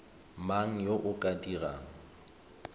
mang yo o ka dirang